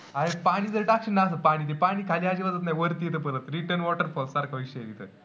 अरे पाणी जर टाकशील ना असं पाणी त पाणी खाली अजिबातच नाही, वरती येतं परत. return water pump सारखा विषय आहे तिथं.